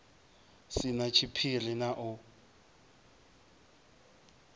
si na tshiphiri na u